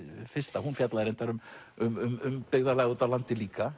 fyrsta hún fjallar reyndar um um byggðarlag úti á landi líka